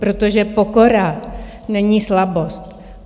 Protože pokora není slabost.